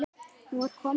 Nú er komið að þessu.